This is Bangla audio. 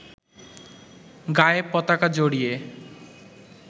গায়ে পতাকা জড়িয়ে